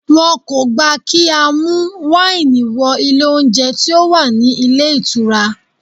Wọn kò gbà kí á mú wáìnì wọ ilé oúnjẹ tí ó wà ní ilé ìtura.